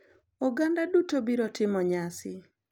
Oganda duto biro timo nyasi.